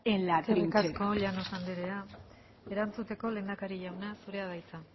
en la trinchera eskerrik asko llanos andrea erantzuteko lehendakari jauna zurea da hitza